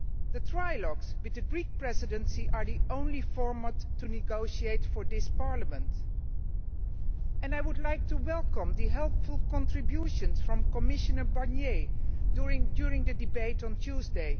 The trialogues with the Greek Presidency are the only format for negotiating for this Parliament, and I would like to welcome the helpful contributions made by Commissioner Barnier during the debate on Tuesday.